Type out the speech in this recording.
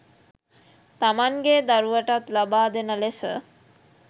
තමන්ගේ දරුවටත් ලබා දෙන ලෙස